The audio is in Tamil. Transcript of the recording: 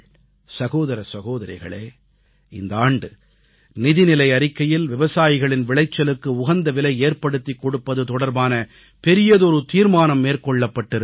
சகோதர சகோதரிகளே இந்த ஆண்டு நிதிநிலை அறிக்கையில் விவசாயிகளின் விளைச்சலுக்கு உகந்த விலை ஏற்படுத்திக் கொடுப்பது தொடர்பான பெரியதொரு தீர்மானம் மேற்கொள்ளப்பட்டிருக்கிறது